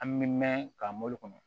An bɛ mɛn ka mobili kɔnɔ